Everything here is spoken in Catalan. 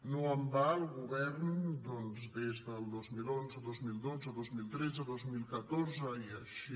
no en va el govern doncs des del dos mil onze dos mil dotze dos mil tretze dos mil catorze i així